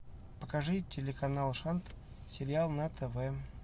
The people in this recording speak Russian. покажи телеканал шант сериал на тв